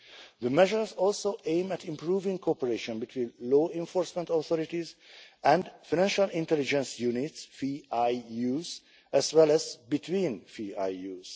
The measures also aim at improving cooperation between law enforcement authorities and financial intelligence units as well as between FIUs.